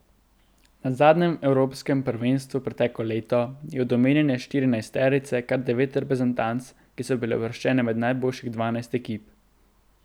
Na zadnjem evropskem prvenstvu preteklo leto je od omenjene štirinajsterice kar devet reprezentanc, ki so bile uvrščene med najboljših dvanajst ekip.